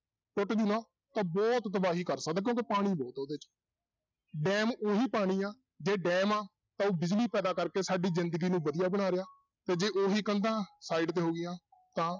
ਟੁੱਟ ਗਈ ਨਾ ਤਾਂ ਬਹੁਤ ਤਬਾਹੀ ਕਰ ਸਕਦਾ ਕਿਉਂਕਿ ਪਾਣੀ ਬਹੁਤ ਉਹਦੇ 'ਚ, ਡੈਮ ਉਹੀ ਪਾਣੀ ਆ, ਜੇ ਡੈਮ ਆ ਤਾਂ ਉਹ ਬਿਜ਼ਲੀ ਪੈਦਾ ਕਰਕੇ ਸਾਡੀ ਜ਼ਿੰਦਗੀ ਨੂੰ ਵਧੀਆ ਬਣਾ ਰਿਹਾ ਤੇ ਜੇ ਉਹੀ ਕੰਧਾਂ side ਤੇ ਹੋ ਗਈਆਂ ਤਾਂ